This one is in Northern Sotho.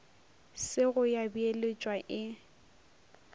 se go ya beeletšwa e